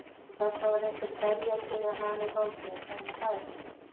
Og þarna var einhver beljaki með hana í fanginu, sennilega faðir hennar.